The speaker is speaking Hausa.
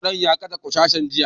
Ƙwadon ya kashe ƙwarkasan jiya